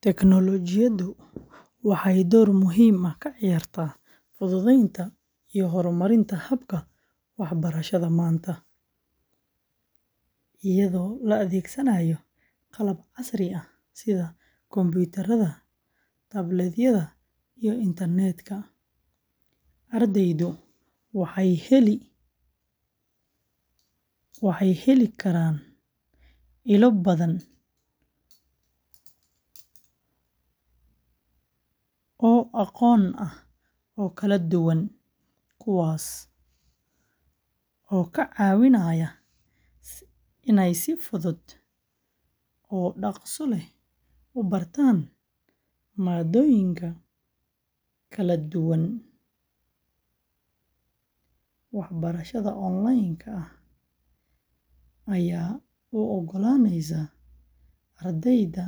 Tignoolajiyadu waxay door muhiim ah ka ciyaartaa fududeynta iyo horumarinta habka waxbarashada maanta. Iyadoo la adeegsanayo qalabka casriga ah sida kumbuyuutarada, tablet-yada, iyo internet-ka, ardaydu waxay heli karaan ilo badan oo aqoon ah oo kala duwan, kuwaasoo ka caawinaya inay si fudud oo dhakhso leh u bartaan maadooyinka kala duwan. Waxbarashada online-ka ah ayaa u oggolaanaysa ardayda